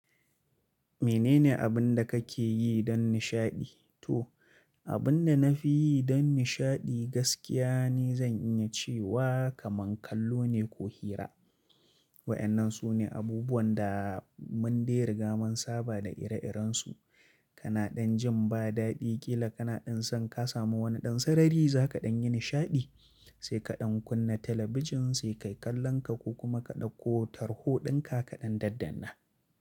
Menene abin da kake yi don nishaɗi? To, abin da na fi yi don nishaɗi gaskiya ne zan iya cewa kaman kallo ne ko hira. Waɗannan su ne abubuwan da mun dai riga mun saba da ire-irensu. Ka na ɗan jin ba daɗi ƙila kana ɗan san ka samu wani ɗan sarari za kaɗan yi nishaɗi, sai kaɗan kunna talabijin sai kai kallon ka ko kuma ka ɗakko tarho ɗinka kaɗan daddanna.